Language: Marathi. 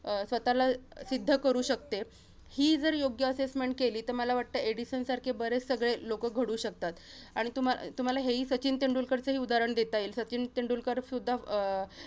अं स्वतःला सिद्ध करू शकते. ही जर योग्य assessment केली, तर मला वाटतं एडिसन सारखे बरेच सगळे लोकं घडू शकतात. आणि तुम्हा~ तुम्हाला हेही सचिन तेंडूलकरचंही उदाहरण देता येईल. सचिन तेंडूलकरसुद्धा अं